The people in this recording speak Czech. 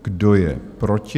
Kdo je proti?